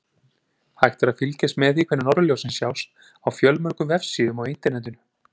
Hægt er að fylgjast með því hvenær norðurljósin sjást á fjölmörgum vefsíðum á Internetinu.